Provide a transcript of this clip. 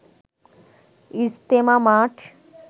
ইজতেমা মাঠ